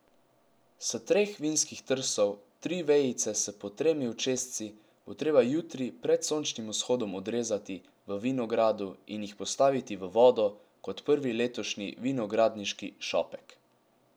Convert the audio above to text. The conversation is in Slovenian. S treh vinskih trsov tri vejice s po tremi očesci bo treba jutri pred sončnim vzhodom odrezati v vinogradu in jih postaviti v vodo kot prvi letošnji vinogradniški šopek.